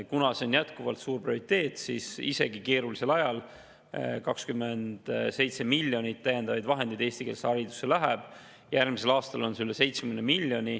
Kuna see on jätkuvalt suur prioriteet, siis läheb isegi keerulisel ajal eestikeelsesse haridusse 27 miljonit täiendavaid vahendeid, järgmisel aastal üle 70 miljoni.